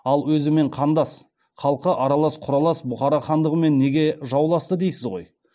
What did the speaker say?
ал өзімен қандас халқы аралас қүралас бұхара хандығымен неге жауласты дейсіз ғой